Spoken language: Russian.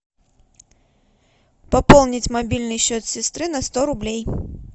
пополнить мобильный счет сестры на сто рублей